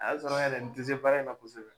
A y'a sɔrɔ yɛrɛ n tɛ se baara in na kosɛbɛ.